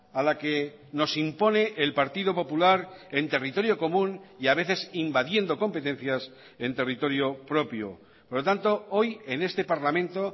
a la que nos impone el partido popular en territorio común y a veces invadiendo competencias en territorio propio por lo tanto hoy en este parlamento